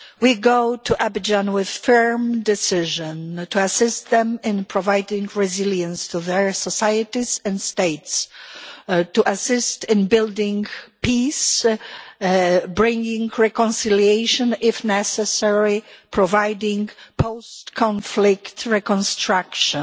We go to Abidjan with a firm decision to assist them in providing resilience to their societies and states, to assist in building peace, to bring reconciliation if necessary, and to providing post-conflict reconstruction.